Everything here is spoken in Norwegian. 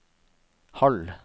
halv